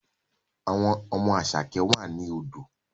Àwọn ọmọ Asake wà ní odò